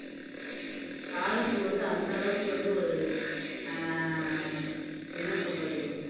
தாழம்பூ வந்து அந்த அளவுக்கு வந்து ஒரு அஹ் என்ன சொல்றது